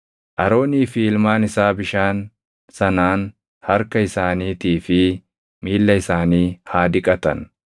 Aroonii fi ilmaan isaa bishaani sanaan harka isaaniitii fi miilla isaanii haa dhiqatan.